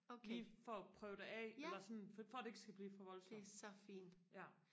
lige for og prøve det af eller sådan for det ikke skal blive for voldssomt ja